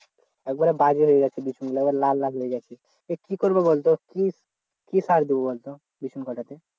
একেবারে বাজে হয়ে গেছে বিচুন গুলা একেবারে লাল লাল হয়ে গেছে কি করব বল তো কি সার দেব বলতো বিচন কটাতে?